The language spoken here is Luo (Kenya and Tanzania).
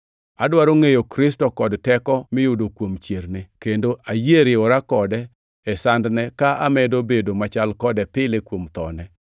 Adwaro ngʼeyo Kristo kod teko miyudo kuom chierne kendo ayie riwora kode e sandne ka amedo bedo machal kode pile kuom thone,